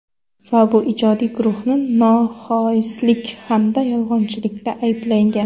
Va bu ijodiy guruhni noxoislik hamda yolg‘onchilikda ayblagan.